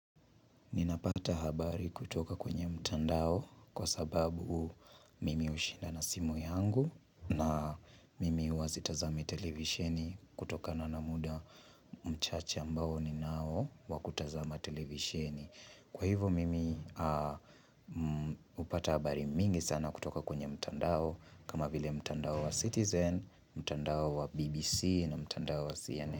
Ninapata habari kutoka kwenye mtandao kwa sababu mimi hushinda na simu yangu na mimi huwa sitazami televisheni kutokana na muda mchache ambao ninao wakutazama televisheni. Kwa hivyo mimi hupata habari mingi sana kutoka kwenye mtandao kama vile mtandao wa Citizen, mtandao wa BBC na mtandao wa CNN.